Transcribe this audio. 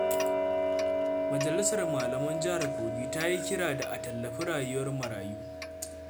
Majalisar Malaman Jihar Kogi ta yi kira da a tallafi rayuwar marayu.